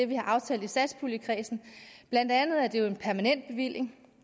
vi har aftalt i satspuljekredsen blandt andet er det jo en permanent bevilling